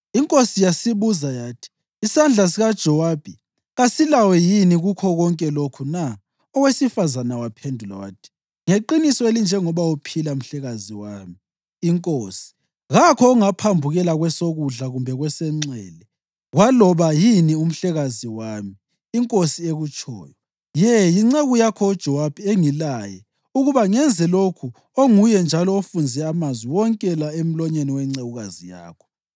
Inkosi yasibuza yathi, “Isandla sikaJowabi kasilawe yini kukho konke lokhu na?” Owesifazane waphendula wathi, “Ngeqiniso elinjengoba uphila, mhlekazi wami, inkosi, kakho ongaphambukela kwesokudla kumbe kwesenxele kwaloba yini umhlekazi wami, inkosi ekutshoyo. Ye, yinceku yakho uJowabi engilaye ukuba ngenze lokhu onguye njalo ofunze amazwi wonke la emlonyeni wencekukazi yakho.